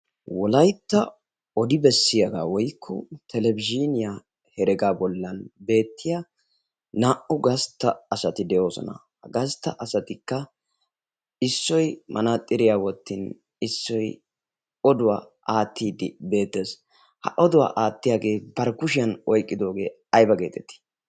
wolaytta odi bessiyaagaa woykko talebizziniyaa heregaa bollan beettiya naa'u gastta asati de'oosona. ha gastta asatikka issoy manaaxiriyaa wottin issoy oduwaa aattid beetes. ha oduwaa aattiyaagee barkkushiyan oyqqidoogee ayba geetettii?